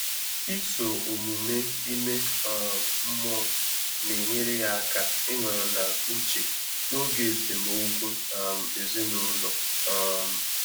Ị́sò ọ́mụ́mé ímé um mmụ́ọ́ nà-ényéré yá áká ị́nọ́rọ́ n’úchè n’ógè ésémókwú um èzínụ́lọ́. um